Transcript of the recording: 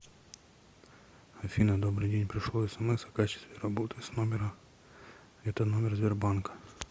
афина добрый день пришло смс о качестве работы с номера это номер сбер банка